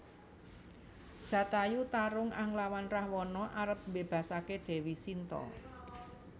Jatayu tarung anglawan Rahwana arep mbébasaké Déwi Sinta